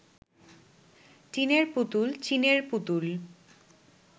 টিনের পুতুল চীনের পুতুল